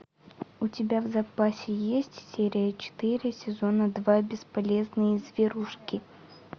у тебя в запасе есть серия четыре сезона два бесполезные зверушки